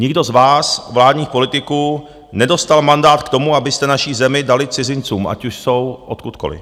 Nikdo z vás, vládních politiků, nedostal mandát k tomu, abyste naši zemi dali cizincům, ať už jsou odkudkoliv.